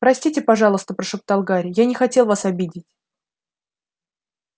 простите пожалуйста прошептал гарри я не хотел вас обидеть